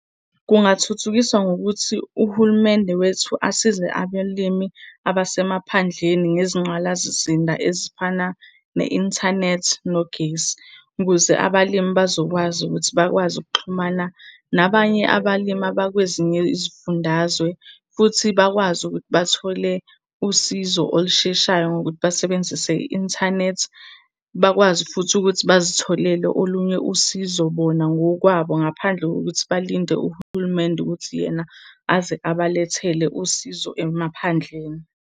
Kungathuthukiswa ngokuthi uhulumende wethu asize abalimi abasemaphandleni ngezingqalasizinda ezifana ne-inthanethi nogesi. Ukuze abalimi bazokwazi ukuthi bakwazi ukuxhumana nabanye abalimi abakwezinye izifundazwe, futhi bakwazi ukuthi bathole usizo olusheshayo ngokuthi basebenzise i-inthanethi. Bakwazi futhi ukuthi bazitholele olunye usizo bona ngokwabo ngaphandle kokuthi balinde uhulumende ukuthi yena aze abalethele usizo emaphandleni.